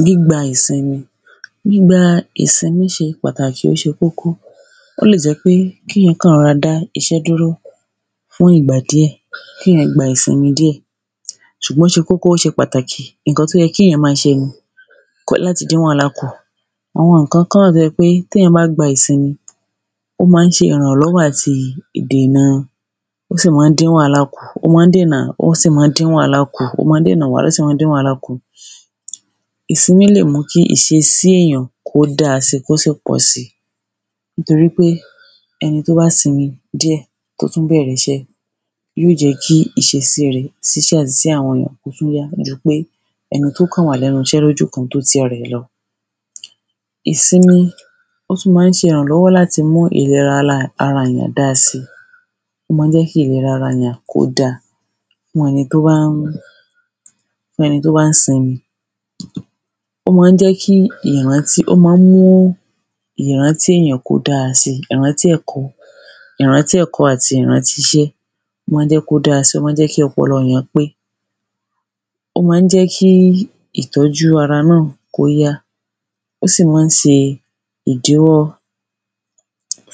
gbígba ìsinmi. gbígba ìsinmí ṣe pàtàkì, ó ṣe kókó. ó lè jẹ́ pé kíyàn kàn rọra dá iṣẹ́ dúró fún ìgbà díẹ̀, kíyàn gba ìsinmi díẹ̀. ṣùgbọ́n ó ṣe kókó, ó ṣe pàtàkì, ǹkan tó yẹ kíyàn ma ṣe ni láti dín wàhálà kù. àwọn ìnkankan wà tó jẹ́ pé téyàn bá gba ìsinmi, ó ma ń ṣe ìrànlọ́wọ́ àti ìdèna, ó sì mọ́n dín wàhálà kù, ó mọọ́ dèna ó sì mọ́n dín wàhálà kù, ó mọọ́ dèna wàhálà, ó sì mọọ́ dín wàhálà kù. ìsinmí lè mú kí ìṣesí èyàn kó dáa sì, kó sì pọ̀ si. nítorí pé ẹni tó bá sinmi díẹ̀ tó tún bẹ̀rẹ̀ iṣẹ́, yíò jẹ́ kí ìṣesíi rẹ̀ sí àwọn èyàn kó tún yá jupé ẹni tó kàn wà lẹ́nu iṣẹ́ lójúkan tó ti ara lọ. ìsinmi, ó tún ma ń ṣe ìrànlọ́wọ́ láti mú ìlera ala ara èyàn dáa si. ó ma ń jẹ́ kí ìlera ara èyàn kó dáa fún ẹni tó bán, fún ẹni tó bán sinmi. ó ma ń jẹ́ kí ìrántí, ó ma ń mú ìrántí èyàn kó dára si. ìrántí ẹ̀kọ́, ìrántí ẹ̀kọ́ àti ìrántí iṣẹ́, ó ma ń jẹ́ kó dára si, ó ma ń jẹ́ kí ọpọlọ èyán pé. ó ma ń jẹ́ kí ìtọ́jú ara náà kó yá, ó sì mọ́n ṣe ìdíwọ́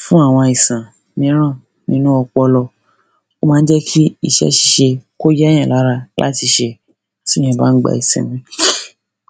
fún àwọn àìsàn míràn nínú ọpọlọ. ó ma ń jẹ́ kí iṣẹ́ ṣíṣe kó yá èyàn lára láti ṣe tíyàn bán gba ìsinmi.